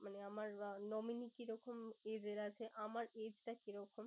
মানে আমার nominee কি রকম age এর আছে? আমার age টা কি রকম?